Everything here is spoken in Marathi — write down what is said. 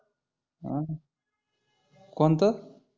आह ोणतं?